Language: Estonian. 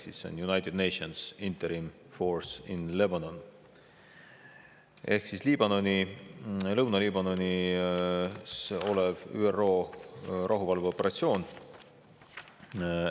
See on United Nations Interim Force in Lebanon ehk Liibanonis, Lõuna-Liibanonis ÜRO rahuvalveoperatsioon.